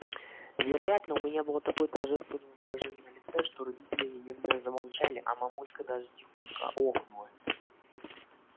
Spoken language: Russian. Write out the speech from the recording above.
вероятно у меня было такое торжественное выражение на лице что родители немедленно замолчали а мамулька даже тихонько охнула